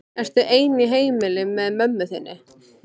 Ertu ein í heimili með mömmu þinni?